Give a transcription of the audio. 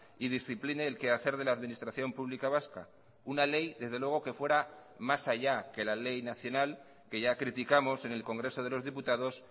y discipline el quehacer de la administración pública vasca una ley desde luego que fuera más allá que la ley nacional que ya criticamos en el congreso de los diputados